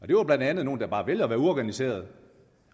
det var blandt andet nogle der bare havde valgt at være uorganiserede